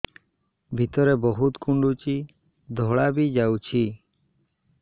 ଭିତରେ ବହୁତ କୁଣ୍ଡୁଚି ଧଳା ବି ଯାଉଛି